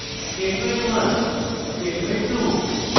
statement 1 statement 2